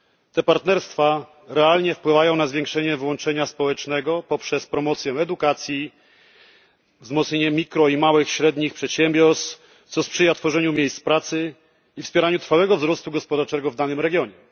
Te partnerstwa realnie wpływają na zwiększenie włączenia społecznego poprzez promocję edukacji, wzmocnienie mikroprzedsiębiorstw oraz małych i średnich przedsiębiorstw, co sprzyja tworzeniu miejsc pracy i wspieraniu trwałego wzrostu gospodarczego w danym regionie.